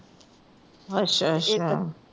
ਅੱਛਾ ਅੱਛਾ